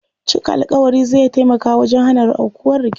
Cika alƙawari zai tamaka wajen hana aukuwar rikici.